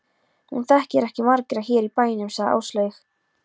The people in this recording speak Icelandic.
Hún þekkir ekki marga hér í bænum, sagði Áslaug.